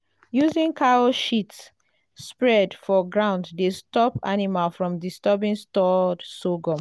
using cow shit spread for ground dey stop animals from disturbing stored sorghum.